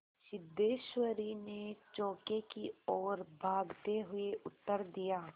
सिद्धेश्वरी ने चौके की ओर भागते हुए उत्तर दिया